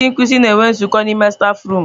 Ndị nkuzi na-enwe nzukọ n'ime stafurum.